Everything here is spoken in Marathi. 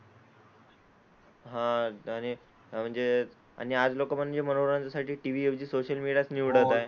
हां आणि म्हणजे आज लोकं म्हणजे मनोरंजनासाठी TV ऐवजी सोशल मीडियाच निवडत आहे.